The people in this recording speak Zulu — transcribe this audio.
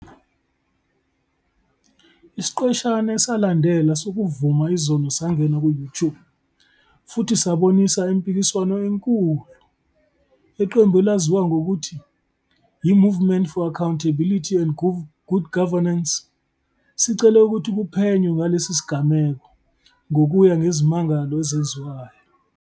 Isiqeshana esalandela sokuvuma izono sangena ku-YouTube futhi sabonisa impikiswano enkulu. Iqembu elaziwa ngokuthi "yiMovement for Accountability and Good Governance", selicele ukuthi kuphenywe ngalesi sigameko ngokuya ngezimangalo ezenziwayo.